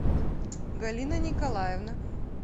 галина николаевна